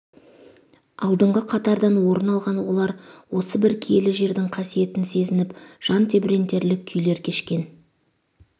алдыңғы қатардан орын алған олар осы бір киелі жердің қасиетін сезініп жан тебірентерлік күйлер кешкен